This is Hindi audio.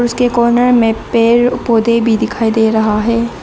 उसके कॉर्नर में पेड़ पौधे भी दिखाई दे रहा है।